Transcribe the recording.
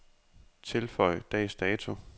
Tilføj dags dato.